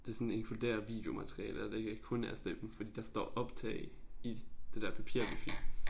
Det sådan inkluderer videomateriale og det ikke er kun er stemme fordi der står optage i det der papir vi fik